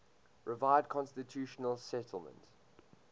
revised constitutional settlement